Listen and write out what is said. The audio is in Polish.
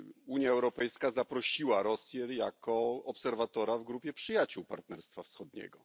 Unia Europejska zaprosiła Rosję jako obserwatora w grupie przyjaciół Partnerstwa Wschodniego.